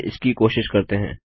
चलिए इसकी कोशिश करते हैं